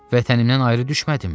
Vətənimdən ayrı düşmədimmi?